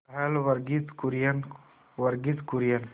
पहल वर्गीज कुरियन वर्गीज कुरियन